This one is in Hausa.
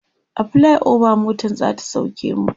a flyover motan zata sauke mu